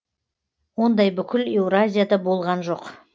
ондай бүкіл еуразияда болған жоқ